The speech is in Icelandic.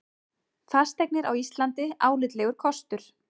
Fasteignir á Íslandi álitlegur kostur